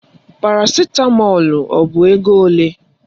Parasitamọlu ọ bụ ego ole?